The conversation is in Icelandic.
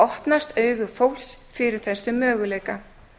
opnast augu fólks fyrir þessum möguleika